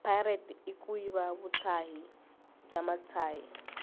pirate ikuyiva vutshayi bwamutshayi